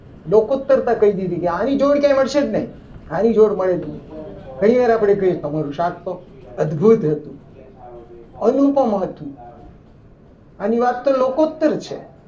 લોકો ઉત્તર કહી દીધી કે આની જોડ કદી ક્યારે મળશે જ નહીં આની જોડ મળે જ નહીં ઘણીવાર આપણે કહીએ કે તમારું શાક તો અદભુત હતું. અનુપમ હતું. અનુ વાક્ય લોકો ઉત્તર છે.